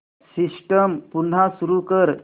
system पुन्हा सुरू कर